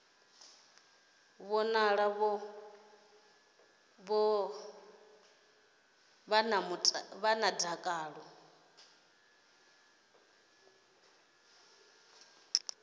vhonala vho ḓala dakalo vha